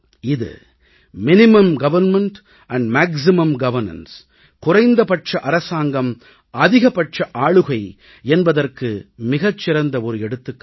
இது குறைந்தபட்ச அரசாங்கம் அதிகபட்ச ஆளுகை என்பதற்கு ஒரு மிகச்சிறந்த எடுத்துக்காட்டு